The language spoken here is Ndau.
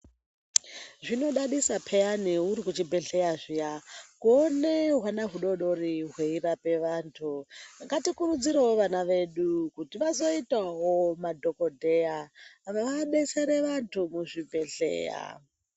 Zvinodadisa peyani uri kuchibhedhleya zviyani kuona hwana hudodori hweirapa antu ngatikurudzire vana vedu kuti vazoitawo madhokoteya vadetsere vantu muzvibhedhleya.